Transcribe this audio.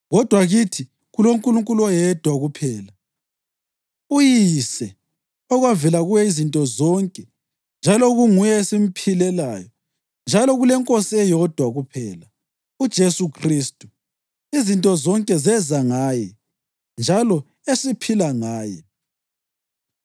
kodwa kithi kuloNkulunkulu oyedwa kuphela, uYise, okwavela kuye izinto zonke njalo okunguye esimphilelayo; njalo kuleNkosi eyodwa kuphela, uJesu Khristu, izinto zonke zeza ngaye njalo esiphila ngaye.